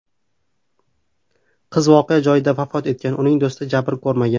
Qiz voqea joyida vafot etgan, uning do‘sti jabr ko‘rmagan.